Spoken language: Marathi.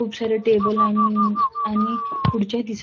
खूप सारे टेबल आन आणि खुर्च्याही दिसत--